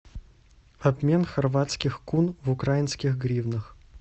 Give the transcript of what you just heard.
обмен хорватских кун в украинских гривнах